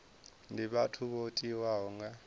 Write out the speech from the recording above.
ndi vhathu vho tiwaho nga